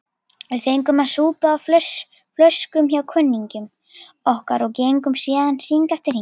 Við fengum að súpa á flöskum hjá kunningjum okkar og gengum síðan hring eftir hring.